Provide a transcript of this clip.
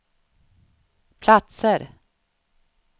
platser